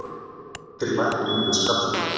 er til lækning við skalla